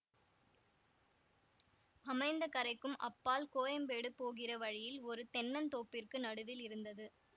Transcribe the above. அமைந்தகரைக்கும் அப்பால் கோயம்பேடு போகிற வழியில் ஒரு தென்னந்தோப்பிற்கு நடுவில் இருந்தது